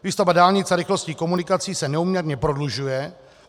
Výstavba dálnic a rychlostních komunikací se neúměrně prodlužuje.